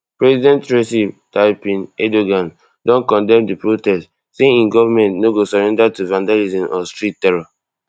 president recep tayyip erdogan don condemn di protests say im govment no go surrender to vandalism or street terror